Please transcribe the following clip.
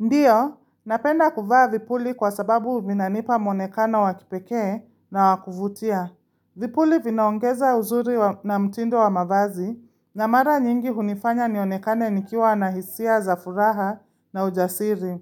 Ndiyo, napenda kuvaa vipuli kwa sababu vinanipa muonekana wa kipekee na wakuvutia. Vipuli vinaongeza uzuri wa na mtindo wa mavazi na mara nyingi hunifanya nionekane nikiwa na hisia za furaha na ujasiri.